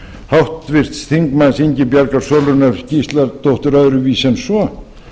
háttvirts þingmanns ingibjargar sólrúnar gísladóttur öðru vísi en svo